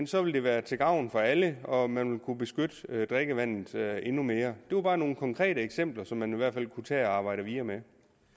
så ville det være til gavn for alle og man ville kunne beskytte drikkevandet endnu mere det var bare nogle konkrete eksempler som man i hvert fald kunne tage og arbejde videre med